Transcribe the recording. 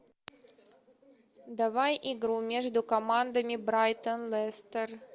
давай игру между командами брайтон лестер